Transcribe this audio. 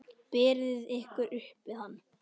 Berið ykkur upp við hann!